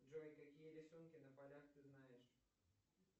джой какие рисунки на полях ты знаешь